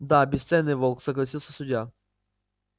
да бесценный волк согласился судья